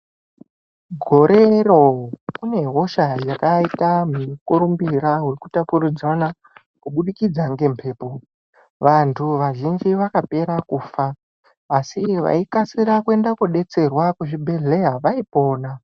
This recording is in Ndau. Gorero kune hosha yakaita mukurumbira wekutapurudzana kubudikidza ngemhepo. Vanhu vazhinji vakapera kufa asi vaikasira kuenda kodetserwa kuzvibhedhleya vaipona.